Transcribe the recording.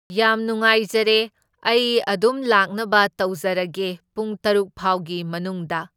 ꯌꯥꯝ ꯅꯨꯡꯉꯥꯏꯖꯔꯦ, ꯑꯩ ꯑꯗꯨꯝ ꯂꯥꯛꯅꯕ ꯇꯧꯖꯔꯒꯦ ꯄꯨꯡ ꯇꯔꯨꯛꯐꯥꯎꯒꯤ ꯃꯅꯨꯡꯗ꯫